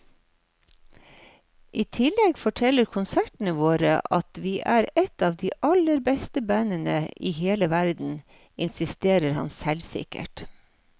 I tillegg forteller konsertene våre at vi er et av de aller beste bandene i hele verden, insisterer han selvsikkert.